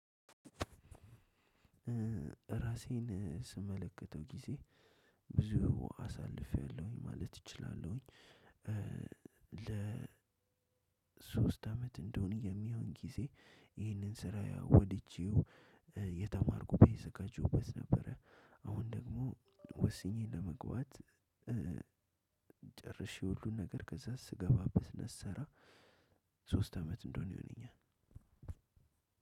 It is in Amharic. ራሴን ስመለከተው ጊዜ ብዙ አሳልፌያለሁኝ ማለት እችላለሁኝ። ለሶስት አመት እንደሆነ የሚሆን ጊዜ ይህንን ስራ ያው ወድጄው የተማርኩ እተዘጋጀሁበት ነበረ። አሁን ደግሞ ወስኜ ለመግባት ጨርሼ ሁሉን ነገር ከዛ ስገባበት እና ስሰራ። ሶስት አመት እንደሆነ ይሆነኛል።